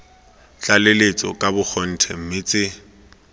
tlaleletso ka bogotlhe mme tse